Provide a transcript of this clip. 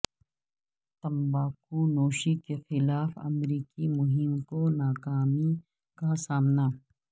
تمباکو نوشی کے خلاف امریکی مہم کو ناکامی کا سامنا